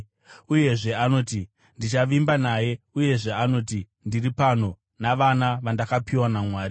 Uyezve anoti, “Ndichavimba naye.” Uyezve anoti, “Ndiri pano, navana vandakapiwa naMwari.”